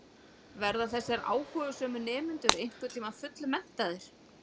Verða þessir áhugasömu nemendur einhvern tíma fullmenntaðir?